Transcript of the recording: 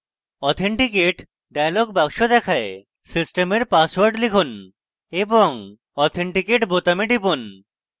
authenticate dialog box দেখায় সিস্টেমের password লিখুন এবং authenticate বোতামে টিপুন